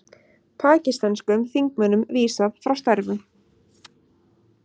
Pakistönskum þingmönnum vísað frá störfum